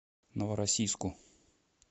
новороссийску